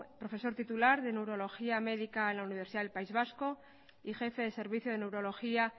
profesor titular de neurología médica en la universidad del país vasco y jefe de servicio de neurología